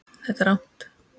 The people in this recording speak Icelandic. Þetta er rangt.